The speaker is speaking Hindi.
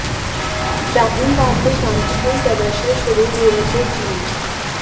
शाहीन बाग में शांतिपूर्ण प्रदर्शन शुरू हुए थे जि